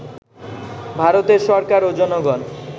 ভারতের সরকার ও জনগণ